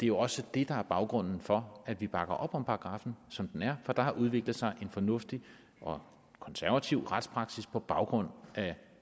jo også det der er baggrunden for at vi bakker op om paragraffen som den er for der har udviklet sig en fornuftig og konservativ retspraksis på baggrund af